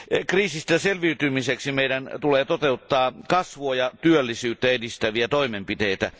Kriisistä selviytymiseksi meidän tulee toteuttaa kasvua ja työllisyyttä edistäviä toimenpiteitä.